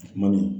Kuma min